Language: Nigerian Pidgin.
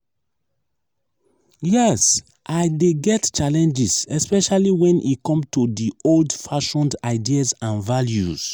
yes i dey get challenges especially when e come to di old-fashioned ideas and values.